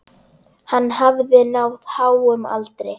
Hann hafði náð háum aldri.